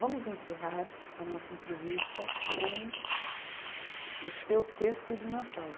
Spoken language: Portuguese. Vamos encerrar a nossa entrevista com o seu texto de Natal.